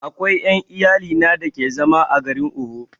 Akwai ƴan iyalina da ke zama a garin Owo